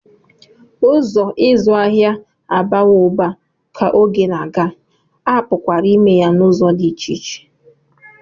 Ụzọ ịzụ ahịa abawo uba ka oge na-aga, a pụkwara ime ya n'ụzọ dị iche iche